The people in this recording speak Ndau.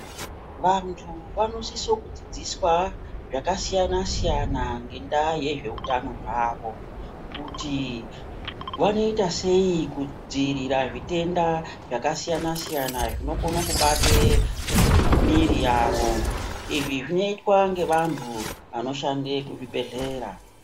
Vantu vanosise kudzidziswa zvakasiyana-siyana, ngendaa yezveutano hwavo. Kuti vanoita sei kudzivirira zvitenda zvakasiyana-siyana, zvinokone kubate mwiri yavo. izvi zvinoitwe ngevantu vanoshande kuzvibhedhlera.